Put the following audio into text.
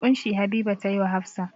ƙunshi Habiba ta yi wa Hafsa.